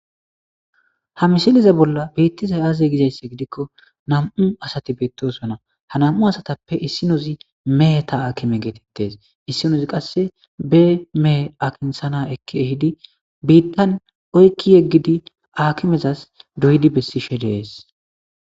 ha misiliza bolla biittiza aaze gizaysse gidikko nam'u asati beettosonna ha nam'u asatappe issinozi meheta aakime geetettes issinozi qasse be mehe akinsana ekki ehidi biittan oykki yeggidi aakimezas doyidi bessishe de'ees